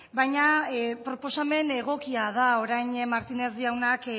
baina proposamen egokia da orain martínez jaunak